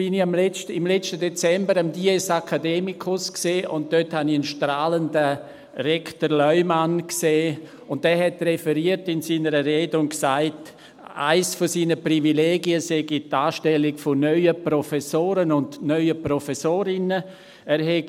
Nun war ich im letzten Dezember am Dies academicus und sah dort einen strahlenden Rektor Leumann, der in seiner Rede referierte und sagte, dass eines seiner Privilegien die Anstellung von neuen Professoren und neuen Professorinnen sei.